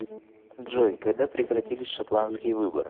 джой когда прекратились шотландские выборы